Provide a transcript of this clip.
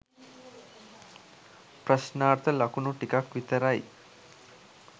ප්‍රශ්නාර්ථ ලකුණු ටිකක් විතරයි.